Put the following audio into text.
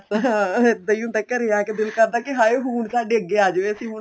ਹਾਂ ਇੱਦਾਂ ਹੀ ਹੁੰਦਾ ਘਰੇ ਆਕੇ ਦਿਲ ਕਰਦਾ ਏ ਹਾਏ ਹੁਣ ਸਾਡੇ ਅੱਗੇ ਆ ਜਾਵੇ ਅਸੀਂ